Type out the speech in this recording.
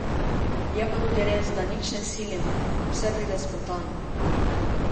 Je pa tudi res, da nič ne silimo, vse pride spontano.